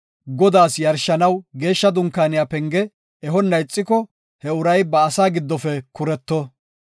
Godaas yarshanaw Geeshsha Dunkaaniya penge ehonna ixiko, he uray ba asaa giddofe kuretto.